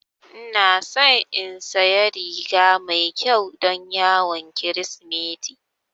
Ina so in saya riga mai ƙyau don yawon kirismeti